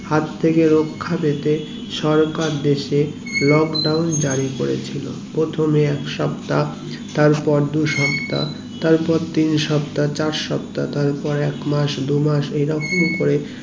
হাত থেকে রাখা পেতে সরকার দেশে lockdown জারি করেছিল প্রথমে এক সপ্তা তারপর দু সপ্তা তার পর তিন সপ্তা চার সপ্তা তারপর এক মাস দু মাস এরোকো করে